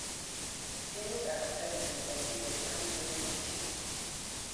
Timit am kenya ne bo mpiret ko urerenik ochei.